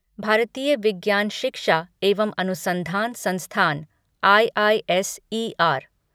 भारतीय विज्ञान शिक्षा एवं अनुसंधान संस्थान आईआईएसईआर